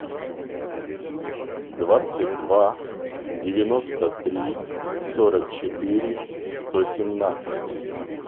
двадцать два девяносто три сорок четыре сто семнадцать